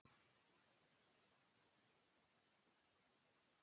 En það er nú önnur saga.